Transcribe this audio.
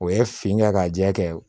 O ye fin kɛ ka jɛ kɛ